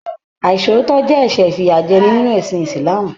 Aisootọ jẹ ẹsẹ ifiyajẹni nínú ẹsìn ísílaámú